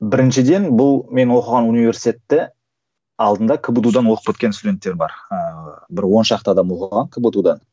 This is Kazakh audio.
біріншіден бұл мен оқыған университетте алдында кбту дан оқып кеткен студенттер бар ыыы бір он шақты адам оқыған кбту да